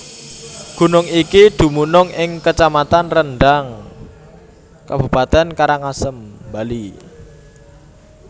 Gunung iki dumunung ing kacamatan Rendang Kabupaten Karangasem Bali